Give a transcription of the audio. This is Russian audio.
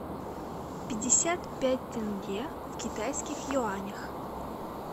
пятьдесят пять тенге в китайских юанях